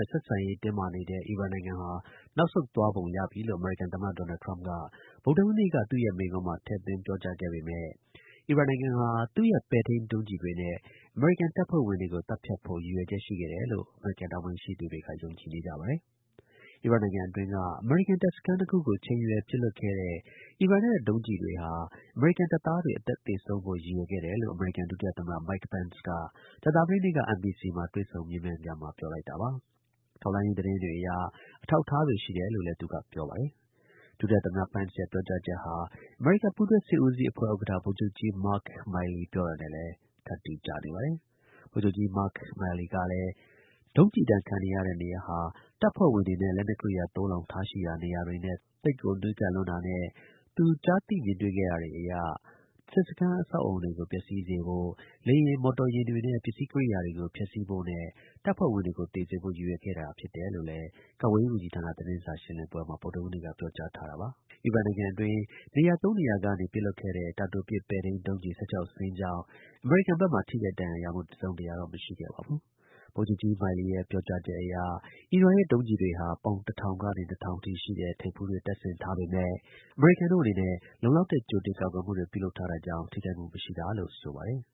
ဲ့ ဆက်ဆံရေး တင်းမာနေတဲ့ အီရန်တို့ နောက်ဆုတ်သွားပုံရပြီလို့ အမေရိကန် သမ္မတ ဒေါ်နယ်ထရမ့်က ဗုဒ္ဓဟူးနေ့ က သူ့ရဲ့မိန့်ခွန်းမှာ ထည့်သွင်း ပြောကြားခဲ့ပေမဲ့ အီရန်နိုင်ငံဟာ တကယ်တော့ သူ့ရဲ့ပဲ့ထိန်းဒုံးကျည်တွေနဲ့ အမေရိကန်တပ်ဖွဲ့ဝင်တွေကိုသတ်ဖြတ် ဖို့ ရည်ရွယ်ချက်ရှိခဲ့တယ်လို့ အမေရိကန်တာဝန်ရှိသူတွေကယုံကြည်နေကြပါတယ်။ အီရတ်နိုင်ငံအတွင်းက အမေရိကန် တပ်စခန်း ၂ခုကိုချိန်ရွယ်ပစ်လွှတ်ခဲ့တဲ့အီရန်တို့ရဲ့ဒုံးကျည်တွေဟာအမေရိကန်တပ်သားတွေအသက်သေဆုံးဖို့ရည်ရွယ်ခဲ့တာလို့အမေရိကန်ဒုတိယသမ္မတ Mike Pence က ကြာသပတေးနေ့က NBC နဲ့တွေ့ဆုံမေးမြန်းခန်းမှာ ပြောလိုက်တာပါ။ ထောက်လှမ်းရေး သတင်းတွေ အရ အထောက်အထားတွေ ရှိတယ်လို့လည်း သူက ပြောပါတယ်။ ဒုတိယ သမ္မတ Pence ရဲ့ ပြောကြားချက်ဟာ အမေရိကန် ပူးတွဲ စစ်ဦးစီးအဖွဲ့ ဥက္ကဌ ဗိုလ်ချုပ်ကြီး Mark Milley နဲ့လည်း ထပ်တူကျနေပါတယ်။ ဗိုလ်ချုပ်ကြီး Mark Milley ကလည်း ဒုံးကျည် ဒဏ်ခံရတဲ့နေရာဟာ တပ်ဖွဲ့တွေနဲ့ လက်နက်ကိရိယာ သိုလှောင်ထားရှိရာ နေရာတွေနဲ့ သိပ်ကို နီးကပ်လွန်း တာရယ်၊ ကျွန်တော် ကြားသိ မြင်တွေ့ခဲ့ရတာတွေရယ်ကို မူတည်ပြီး ပြောရရင် စစ်စခန်း အဆောက်အအုံတွေကို ပျက်စီးစေဖို့၊ လေယာဉ်၊ မော်တော်ယာဉ်တွေနဲ့ ပစ္စည်းကိရိယာတွေကို ဖျက်ဆီးဖို့နဲ့ တပ်ဖွဲ့ဝင်တွေကို သေစေဖို့ ရည်ရွယ်ထားခဲ့ တာဖြစ်ပါတယ် လို့ ကာကွယ်ရေး ဝန်ကြီးဌာန သတင်းစာ ရှင်းလင်းပွဲမှာ ပြောကြားထားတာပါ။ အီရန်နိုင်ငံအတွင်း နေရာ ၃ နေရာကနေ ပစ်လွှတ်ခဲ့တဲ့ တာတိုပစ် ပဲ့ထိန်း ဒုံးကျည် ၁၆ စင်းကြောင့် အမေရိကန် ဘက်မှာ ထိခိုက် ဒဏ်ရာရမှု တစ်စုံတစ်ရာ မရှိခဲ့ပါဘူး။ ဗိုလ်ချုပ်ကြီး Milley ရဲ့ အဆိုအရ အီရန်ရဲ့ ဒုံးကျည်တွေဟာ ပေါင် ၁၀၀၀ ကနေ ၂၀၀၀ အထိ ရှိတဲ့ ထိပ်ဖူးတွေ တပ်ဆင်ထားပေမဲ့ အမေရိကန်တို့အနေနဲ့ လုံလောက်တဲ့ ကြိုတင် ကာကွယ်မှုတွေ ပြုလုပ်ထားတာကြောင့် ထိခိုက်မှု မရှိတာလို့ ဆိုပါတယ်